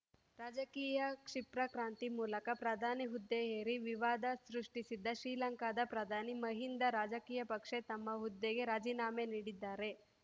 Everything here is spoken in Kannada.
ರಾಜಕೀಯ ಕ್ಷಿಪ್ರಕ್ರಾಂತಿ ಮೂಲಕ ಪ್ರಧಾನಿ ಹುದ್ದೆ ಏರಿ ವಿವಾದ ಸೃಷ್ಟಿಸಿದ್ದ ಶ್ರೀಲಂಕಾದ ಪ್ರಧಾನಿ ಮಹಿಂದಾ ರಾಜಪಕ್ಸೆ ತಮ್ಮ ಹುದ್ದೆಗೆ ರಾಜೀನಾಮೆ ನೀಡಿದ್ದಾರೆ